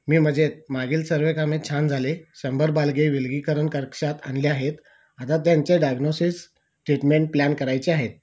मी मजेत मागील सगळी कामे छान झाले 100 बालके विलगिकरण कक्षात आणले आहेत आता त्यांचे डायग्नोसिस ट्रीटमेंट प्लॅन करायच्या आहेत